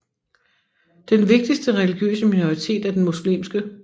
Den vigtigste religiøse minoritet er den muslimske